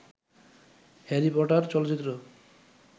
Harry Potter চলচ্চিত্র